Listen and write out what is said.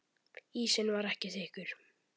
Ísinn var ekki þykkur.